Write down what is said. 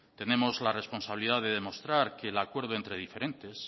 tenemos la responsabilidad de demostrar que el acuerdo entre diferentes